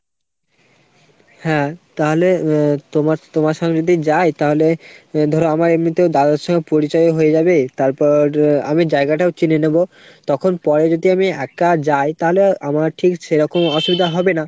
হ্যাঁ তাহলে আহ তোমার তোমার সঙ্গে যদি যাই তাহলে ধরো আমার এমনিতেও দাদার সঙ্গে পরিচয়ও হয়ে যাবে, তারপর আমি জায়গাটাও চিনে নেবো। তখন পরে যদি আমি একা যাই তাহলে আমার ঠিক সেরকম অসুবিধা হবে না।